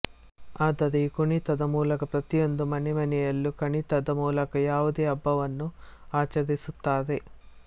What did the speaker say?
ಆದರೆ ಈ ಕುಣಿತದ ಮೂಲಕ ಪ್ರತಿಯೊಂದು ಮನೆ ಮನೆಯಲ್ಲೂ ಕಣಿತದ ಮೂಲಕ ಯಾವುದೇ ಹಬ್ಬವನ್ನು ಆಚರಿಸುತ್ತಾರೆ